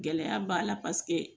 Gɛlɛya b'a la paseke